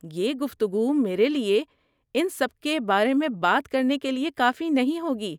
یہ گفتگو میرے لیے ان سب کے بارے میں بات کرنے کے لیے کافی نہیں ہوگی۔